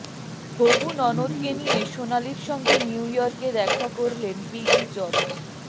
হবু ননদকে নিয়ে সোনালির সঙ্গে নিউ ইয়র্কে দেখা করলেন পিগি চপস